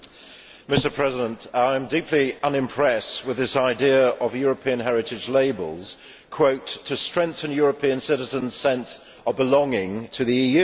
Mr President, I am deeply unimpressed with this idea of a European Heritage Label to strengthen European citizens' sense of belonging to the EU'.